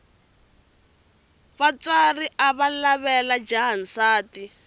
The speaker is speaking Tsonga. vatswari avalavela jaha nsati